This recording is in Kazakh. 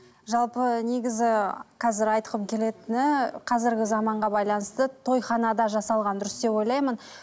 жалпы негізі қазір айтқым келетіні қазіргі заманға байланысты тойханада жасалған дұрыс деп ойлаймын